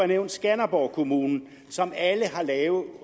nævnt skanderborg kommune som alle har lave